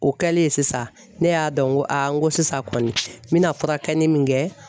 O kɛlen sisan, ne y'a dɔn ko sisan kɔni n bɛna furakɛli min kɛ